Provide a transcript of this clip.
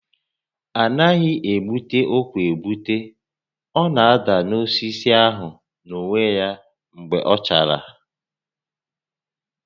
A naghị egbute ụkwa egbute, ọ na-ada n'osisi ahụ n'onwe ya mgbe ọ chara